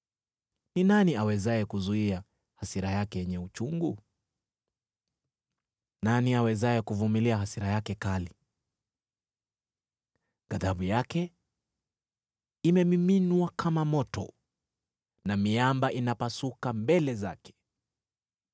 Ni nani awezaye kuzuia hasira yake yenye uchungu? Nani awezaye kuvumilia hasira yake kali? Ghadhabu yake imemiminwa kama moto, na miamba inapasuka mbele zake.